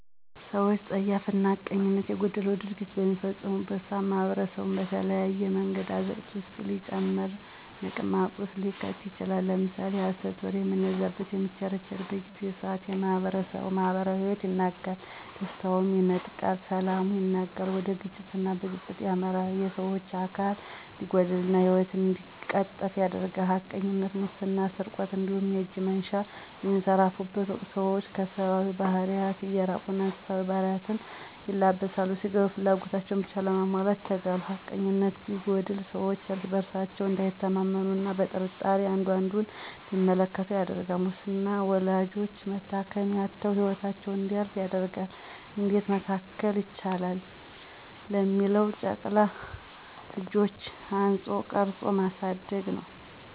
ሰወች ፀያፍና ሐቀኝነት የጎደለው ድርጊት በሚፈጽሙበት ሰዓት ማኅበረሰቡን በተለያየ መንገድ አዘቅት ውስጥ ሊጨምርና ምቅማቅ ውስጥ ሊከተው ይችላል። ለምሳሌ የሀሰት ወሬ በሚነዛዘትና በሚቸረቸርበት ጊዜና ሰዓት የማህበረሰቡን የማህበራዊ ሂወት ያናጋል፥ ደስታውንም ይነጥቃል፥ ሰላሙን ያናጋል፥ ወደ ግጭትና ብጥብጥ ያመራል፣ የሰወች አካል እንዲጎድልና ሂወት እንዲቀጠፉ ያደርጋል። ሀቀኝነት፥ ሙስና ስርቆት እንዲሁም የእጅ መንሻ በሚንሰራፋበት ወቅት ሰወች ከሰባዊ ባህሪያት እየራቁና እንስሳዊ ባህሪ ን ይለብሳሉ ስጋዊ ፍላጎታቸውን ብቻ ለማሟላት ይተጋሉ። ሀቀኝነነት ሲጎድል ሰወች እርስ በርሳቸው እንዳይተማመኑ አና ቀጥርጣሬ አንዱ አንዱን እንዲመለከቱ ያደርጋል። ሙስናም ወላዶች መታከሚያ አተው ሂወታቸው እንዲያልፍ ያደርጋል። እንዴት መከላከል ይቻላል ለሚለው ጨቅላ ልጆችን አንጾ ቀርጾ ማሳደግ ነወ።